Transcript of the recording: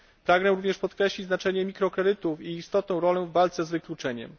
Pragnę również podkreślić znaczenie mikrokredytów i ich istotną rolę w walce z wykluczeniem.